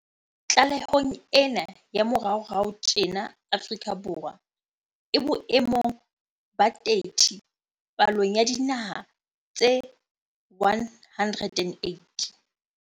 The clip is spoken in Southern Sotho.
Tlalehong ena ya moraorao tjena Afrika Borwa e bo emong ba 30 palong ya dinaha tse 108.